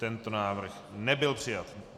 Tento návrh nebyl přijat.